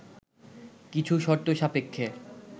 কিছু শর্তসাপেক্ষে